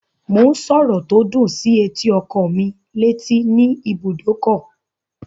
Mò ń sọ̀rọ̀ tó dùn sí etí ọkọ́ mí létí ní ibùdókọ̀